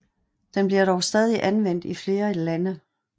Den bliver dog stadig anvendt i flere lande